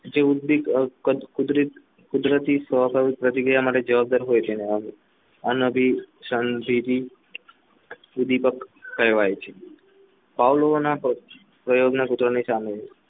કુદરતી સ્વભાવિક પ્રતિક્રિયા માટે જવાબદાર હોય છે અને અભી સુધીપક કહેવાય છે પ્રયોગના કૂતરાની સામે